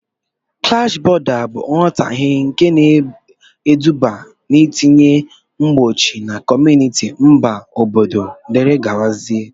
Klash bọ̀da bụ nghotahie nke na-eduba n'itinye mgbochi na kọmunịti, mba, obodo wdgz